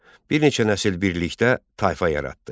Bir neçə nəsil birlikdə tayfa yaratdı.